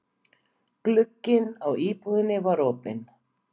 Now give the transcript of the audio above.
Glugginn á íbúðinni var opinn.